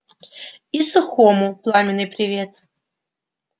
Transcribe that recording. и сухому пламенный привет